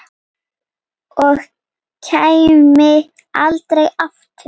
Og kæmi aldrei aftur.